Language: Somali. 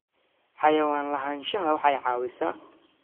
Xayawaan lahaanshaha waxay caawisaa.